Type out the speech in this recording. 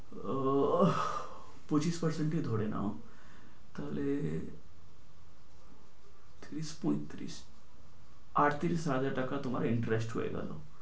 উহ পঁচিশ percent ই ধরে নাও, তাহলে ত্রিশ পঁয়ত্রিশ আটত্রিশ হাজার টাকা তোমার interest হয়ে গেলো।